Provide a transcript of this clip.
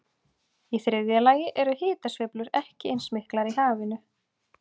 Í þriðja lagi eru hitasveiflur ekki eins miklar í hafinu.